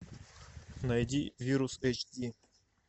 найди вирус эйч ди